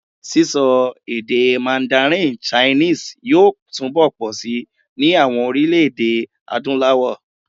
Sísọ èdè mandarin chinese yóò túnbọ̀ pọ̀si ní àwọn orílẹ̀-èdè Adúláwọ̀.